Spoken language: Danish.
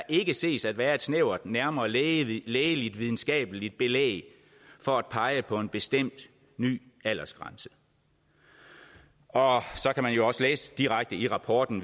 ikke ses at være et snævert nærmere lægeligt lægeligt videnskabeligt belæg for at pege på en bestemt ny aldersgrænse og så kan man jo også videre læse direkte i rapporten